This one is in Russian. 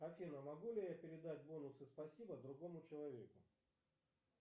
афина могу ли я передать бонусы спасибо другому человеку